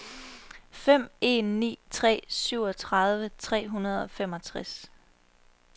fem en ni tre syvogtredive tre hundrede og femogtres